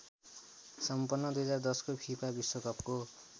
सम्पन्न २०१० को फिफा विश्वकपको